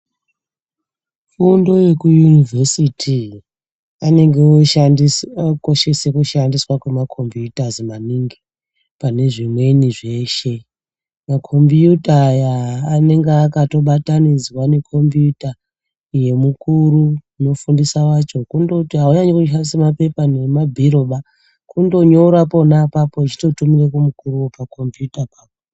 Fundo yekuyunivhesiti anenge okoshese kushandiswa kwemakhombiyutazi maningi pane zvimweni zveshe. Makhombiyuta aya anenge akatobatnidzwa nekhombiyuta yemukuru unofundisa wacho, kundoti havaimboshandise mapepa nemabhiroba kundonyora pona apapo echitotumira kumukuru pakhombiyutapo apapo.